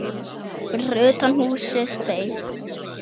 Fyrir utan húsið beið